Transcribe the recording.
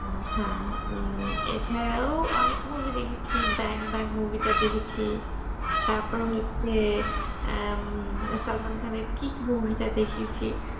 হ্যাঁ এছাড়াও অনেক movie দেখেছি Bang-bang movie টা দেখেছি তারপরে হচ্ছে উম SalmanKhan এর kick movie টা দেখেছি